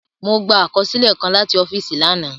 Mọ gbà àkọsílẹ kàn làti ọ́fíìsì lànà.